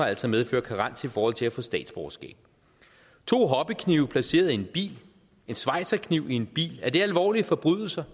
altså medføre karens i forhold til at få statsborgerskab to hobbyknive placeret i en bil en schweizerkniv i en bil er det alvorlige forbrydelser